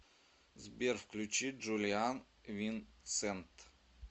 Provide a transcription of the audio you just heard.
сбер включи джулиан винсент